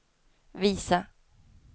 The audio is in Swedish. visa